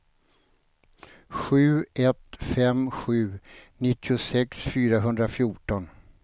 sju ett fem sju nittiosex fyrahundrafjorton